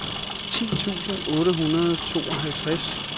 ti tusind otte hundrede og tooghalvtreds